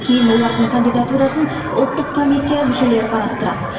кейін олардың кандидатурасын ұлттық комиссия мүшелері қарастырады